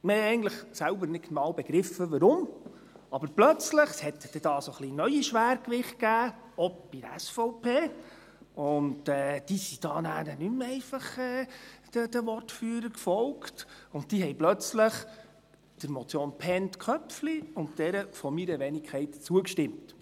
Wir begriffen eigentlich selbst nicht genau, warum, aber plötzlich gab es hier neue Schwergewichte – auch bei der SVP –, und diese folgten dann nicht mehr einfach den Wortführern und stimmten plötzlich der Motion Bhend/Köpfli und jener meiner Wenigkeit zu.